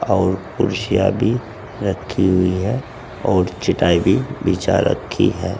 और कुर्सियां भी रखी हुई है और चटाई भी बिछा रखी है।